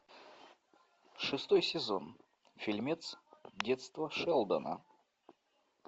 шестой сезон фильмец детство шелдона